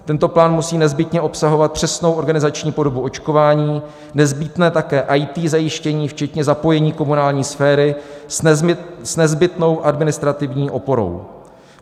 Tento plán musí nezbytně obsahovat přesnou organizační podobu očkování, nezbytné také IT zajištění, včetně zapojení komunální sféry s nezbytnou administrativní oporou.